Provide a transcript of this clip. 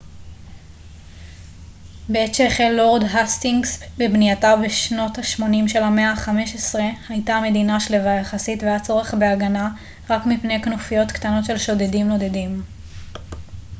בעת שהחל לורד האסטינגס בבנייתה בשנות השמונים של המאה ה־15 הייתה המדינה שלווה יחסית והיה צורך בהגנה רק מפני כנופיות קטנות של שודדים נודדים